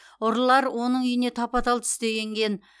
ұрылар оның үйіне тапа тал түсте енген